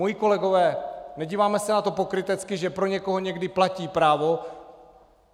Moji kolegové, nedíváme se na to pokrytecky, že pro někoho někdy platí právo?